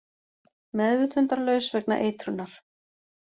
Meðvitundarlaus vegna eitrunar